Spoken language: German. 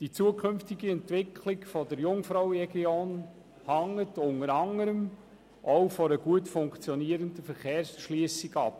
Die zukünftige Entwicklung der Jungfrauregion hängt unter anderem auch von einer gut funktionierenden Verkehrserschliessung ab.